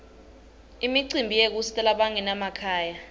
imicimbi yekusita labanganamakhaya